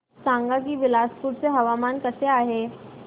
सांगा की बिलासपुर चे हवामान कसे आहे